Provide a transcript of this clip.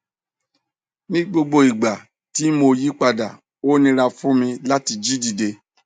ni gbogbo igba ti mo yipada o nira fun mi lati jí dide